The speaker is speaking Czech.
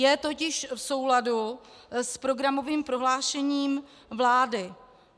Je totiž v souladu s programovým prohlášením vlády.